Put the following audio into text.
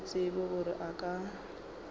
se tsebe gore a ka